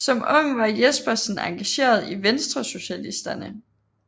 Som ung var Jespersen engageret i Venstresocialisterne